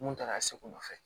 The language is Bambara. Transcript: Mun taara se u nɔfɛ